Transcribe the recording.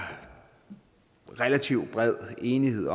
relativt bred enighed